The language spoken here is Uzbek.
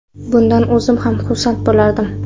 Bundan o‘zim ham xursand bo‘lardim.